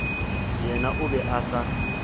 yena o be a sa